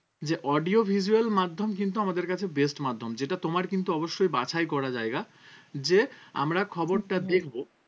যে audio visual মাধ্যম কিন্তু আমাদের কাছে best মাধ্যম যেটা তোমার কিন্তু অবশ্যই বাছাই করা জায়গা যে আমরা খবরটা দেখবো